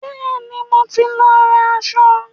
Bẹ́ẹ̀ni, mo ti lọ ra aṣọ.